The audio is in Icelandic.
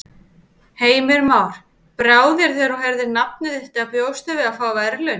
Heimir Már: Brá þér þegar þú heyrðir nafnið þitt eða bjóstu við að fá verðlaunin?